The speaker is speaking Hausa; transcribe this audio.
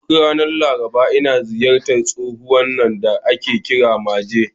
Duk ranar Laraba, ina ziyartar tsohon nan da ake kira Maje.